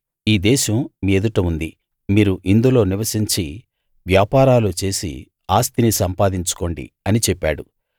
ఈ దేశం మీ ఎదుట ఉంది మీరు ఇందులో నివసించి వ్యాపారాలు చేసి ఆస్తి సంపాదించుకోండి అని చెప్పాడు